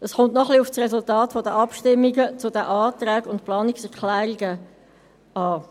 Es kommt noch ein wenig auf das Resultat der Abstimmungen zu den Anträgen und Planungserklärungen an.